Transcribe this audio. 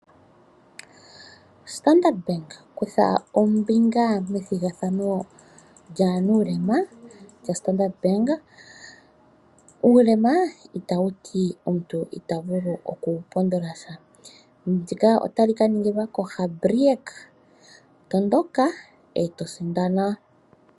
Standard Bank, kutha ombinga methigathano lyaanuulema lyaStandard Bank. Uulema itawu ti omuntu ita vulu okupondola sha. Ndika otali ka ningilwa koDagbreek. Tondoka e to sindana!